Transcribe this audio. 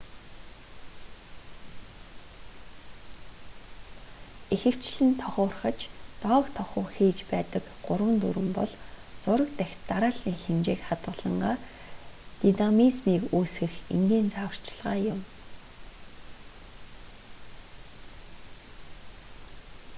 ихэвчлэн тохуурхаж доог тохуу хийж байдаг гурвын дүрэм бол зураг дахь дарааллын хэмжээг хадгалангаа динамизмийг үүсгэх энгийн зааварчилгаа юм